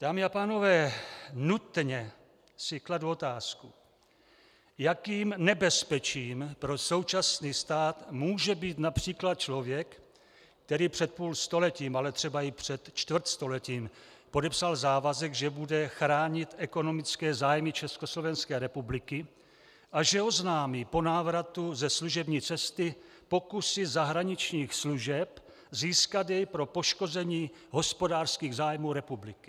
Dámy a pánové, nutně si kladu otázku, jakým nebezpečím pro současný stát může být například člověk, který před půlstoletím, ale třeba i před čtvrtstoletím podepsal závazek, že bude chránit ekonomické zájmy Československé republiky a že oznámí po návratu ze služební cesty pokusy zahraničních služeb získat jej pro poškození hospodářských zájmů republiky.